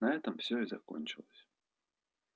на этом всё и закончилось